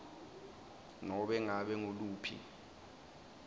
nobe ngabe nguluphi